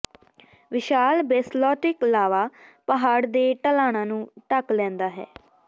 ਵਿਸ਼ਾਲ basaltic ਲਾਵਾ ਪਹਾੜ ਦੇ ਢਲਾਣਾਂ ਨੂੰ ਢਕ ਲੈਂਦਾ ਹੈ